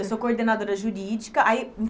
Eu sou coordenadora jurídica. Aí